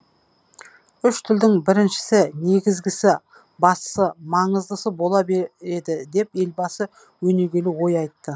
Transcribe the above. үш тілдің біріншісі негізгісі бастысы маңыздысы бола береді деп елбасы өнегелі ой айтты